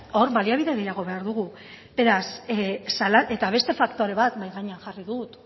hor baliabide gehiago behar dugu eta beste faktore bat mahai gainean jarri dut